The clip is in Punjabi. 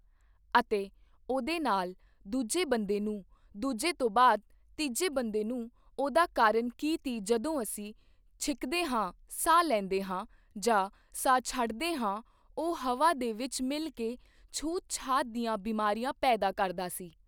ਅਤੇ ਉਹਦੇ ਨਾਲ਼ ਦੂਜੇ ਬੰਦੇ ਨੂੰ ਦੂਜੇ ਤੋਂ ਬਾਅਦ ਤੀਜੇ ਬੰਦੇ ਨੂੰ ਉਹਦਾ ਕਾਰਨ ਕੀ ਤੀ ਜਦੋਂ ਅਸੀਂ ਛਿੱਕਦੇ ਹਾਂ ਸਾਹ ਲੈਂਦੇ ਹਾਂ ਜਾਂ ਸਾਹ ਛੱਡਦੇ ਹਾਂ ਉਹ ਹਵਾ ਦੇ ਵਿੱਚ ਮਿਲ ਕੇ ਛੂਤਛਾਤ ਦੀਆਂ ਬਿਮਾਰੀਆਂ ਪੈਦਾ ਕਰਦਾ ਸੀ।